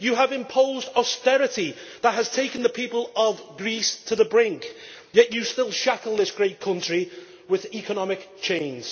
You have imposed austerity that has taken the people of Greece to the brink, yet you still shackle this great country with economic chains.